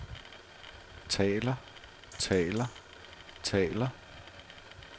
taler taler taler